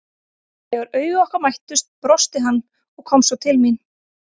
Þegar augu okkar mættust brosti hann og kom svo til mín.